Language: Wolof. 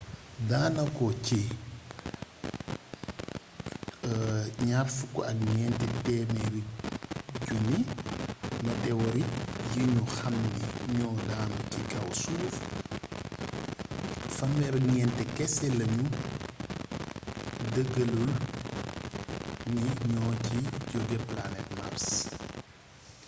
daanako ci 24 000 météorite yi ñu xamni ñoo daanu ci kaw suuf 34 kese lañu dëggalagul ni ñoo ci jogee planete mars